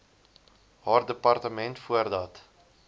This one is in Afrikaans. haar departement voordat